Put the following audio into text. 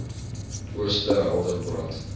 ooste helder brand